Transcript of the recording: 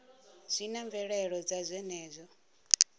zwi na mvelelo dza zwenezwo